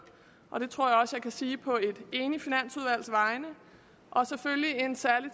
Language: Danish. og det tror jeg også kan sige på et enigt finansudvalgs vegne og selvfølgelig en særlig